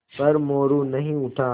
पर मोरू नहीं उठा